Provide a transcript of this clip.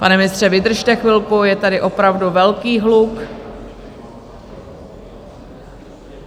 Pane ministře, vydržte chvilku, je tady opravdu velký hluk.